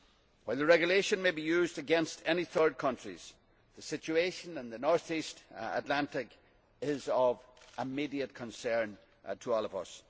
While the regulation may be used against any third countries, the situation in the north east Atlantic is of immediate concern to all of us.